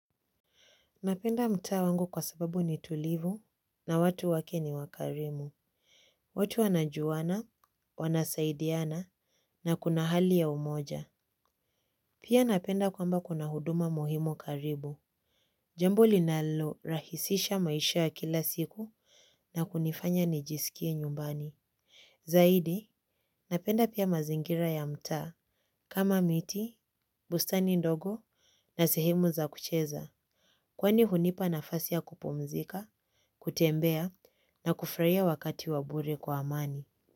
Napenda mtaa wangu kwa sababu ni tulivu na watu wake ni wakarimu. Watu wanajuana, wanasaidiana na kuna hali ya umoja. Pia napenda kwamba kuna huduma muhimu karibu. Jambo linalo rahisisha maisha ya kila siku na kunifanya nijisikie nyumbani. Zaidi, napenda pia mazingira ya mtaa. Kama miti, bustani ndogo na sehemu za kucheza. Kwani hunipa nafasi ya kupumzika, kutembea na kufuraia wakati wa bure kwa amani.